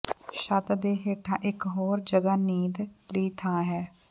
ਛੱਤ ਦੇ ਹੇਠਾਂ ਇਕ ਹੋਰ ਜਗ੍ਹਾ ਨੀਂਦ ਲਈ ਥਾਂ ਹੈ